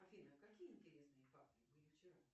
афина какие интересные факты были вчера